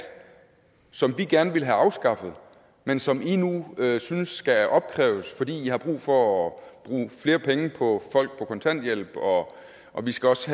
som vi gerne ville have afskaffet men som i nu synes skal opkræves fordi i har brug for at bruge flere penge på folk på kontanthjælp og og vi skal også